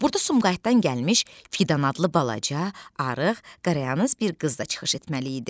Burda Sumqayıtdan gəlmiş Fidan adlı balaca, arıq, qarayanız bir qız da çıxış etməli idi.